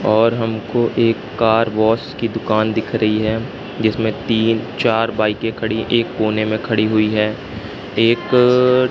और हमको एक कार वाश की दुकान दिख रही है जिसमें तीन चार बाईकें खड़ी एक कोने में खड़ी हुई है एक--